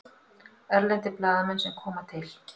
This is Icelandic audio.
Erlendir blaðamenn sem koma til